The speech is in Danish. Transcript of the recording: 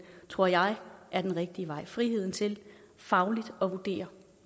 tror jeg er den rigtige vej friheden til fagligt at vurdere